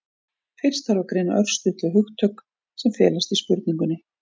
fyrst þarf að greina örstutt þau hugtök sem felast í spurningunni